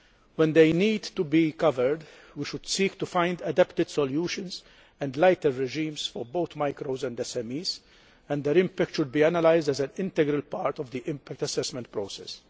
When they need to be covered, we should seek to find adapted solutions and lighter regimes for both micros and SMEs, and their impact should be analysed as an integral part of the impact assessment process.